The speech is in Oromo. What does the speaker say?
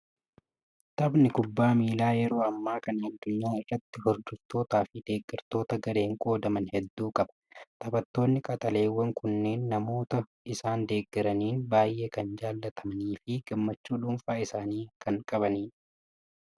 Taphni kubbaa miilaa yeroo ammaa kana addunyaa irratti hordoftootaa fi deeggartoota gareen qoodaman hedduu qaba. Taphattoonni qaxaleewwan kunneen namoota isaan deeggaraniin baay'ee kan kan jaalatamanii fi gammachuu dhuunfaa isaanii kan qabanidha!